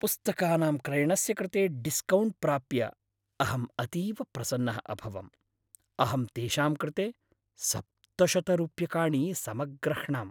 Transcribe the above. पुस्तकानां क्रयणस्य कृते डिस्कौण्ट् प्राप्य अहं अतीव प्रसन्नः अभवम्, अहं तेषां कृते सप्तशतरूप्यकाणि समग्रह्णाम्।